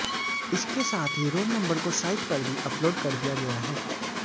इसके साथ ही रोल नंबर को साइट पर भी अपलोड कर दिया गया है